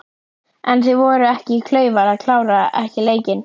En voru þeir ekki klaufar að klára ekki leikinn?